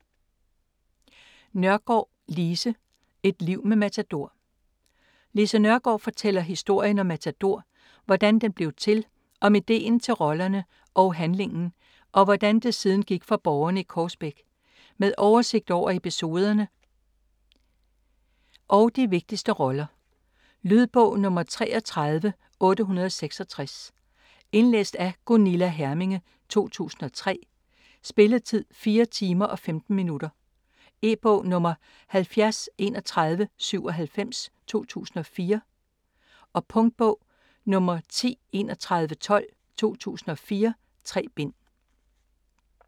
Nørgaard, Lise: Et liv med Matador Lise Nørgaard fortæller historien om Matador, hvordan den blev til, om ideen til rollerne og handlingen og hvordan det siden gik for borgerne i Korsbæk. Med oversigt over episoderne og de vigtigste roller. Lydbog 33866 Indlæst af Gunilla Herminge, 2003. Spilletid: 4 timer, 15 minutter. E-bog 703197 2004. Punktbog 103112 2004. 3 bind.